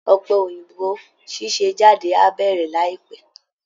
Ọ̀pẹ̀ òyìnbó ṣíṣe jáde á bẹ̀rẹ̀ láìpẹ́